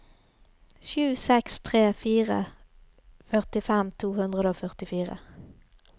sju seks tre fire førtifem to hundre og førtifire